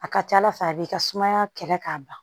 A ka ca ala fɛ a b'i ka sumaya kɛlɛ k'a ban